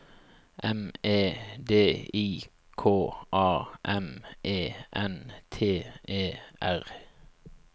M E D I K A M E N T E R